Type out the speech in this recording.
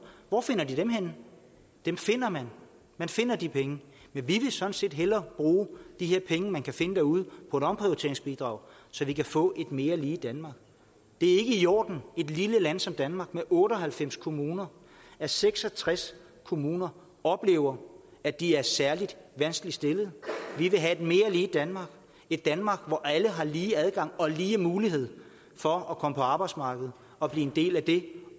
hvor finder de dem henne dem finder man man finder de penge vi ville sådan set hellere bruge pengene man kan finde derude på omprioriteringsbidrag så vi kan få et mere lige danmark det er ikke i orden i et lille land som danmark med otte og halvfems kommuner at seks og tres kommuner oplever at de er særlig vanskeligt stillede vi vil have et mere lige danmark et danmark hvor alle har lige adgang og lige mulighed for at komme på arbejdsmarkedet og blive en del af det